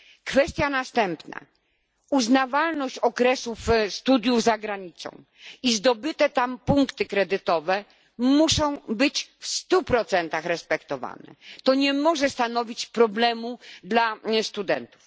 Kwestia następna uznawalność okresów studiów za granicą i zdobyte tam punkty kredytowe muszą być w 100 respektowane, to nie może stanowić problemu dla studentów.